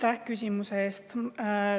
Aitäh küsimuse eest!